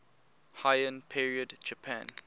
heian period japan